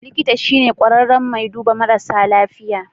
Likita shine kwararren mai duɓa marasa lafiya.